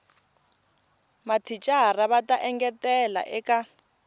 mathicara va ta engetela eka